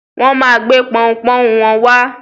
Wọn máa gbé pọunpọ́ún wọn wá.